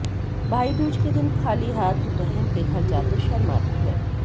भाईदूज के दिन खाली हाथ बहन के घर जाते शर्म आती है